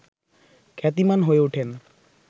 খ্যাতিমান হয়ে ওঠেন